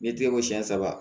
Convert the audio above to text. N'i tɛgɛ ko siyɛn saba